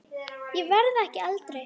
Ég verð ekki eldri.